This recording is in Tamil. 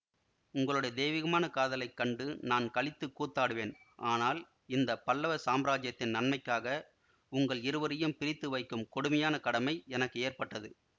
உங்களுடைய தெய்வீகமான காதலைக் கண்டு நான் களித்துக் கூத்தாடுவேன் ஆனால் இந்த பல்லவ சாம்ராஜ்யத்தின் நன்மைக்காக உங்கள் இருவரையும் பிரித்து வைக்கும் கொடுமையான கடமை எனக்கு ஏற்பட்டது